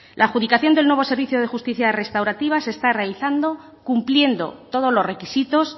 la adjudicación del nuevo servicio de justicia restaurativa se está realizando cumpliendo todos los requisitos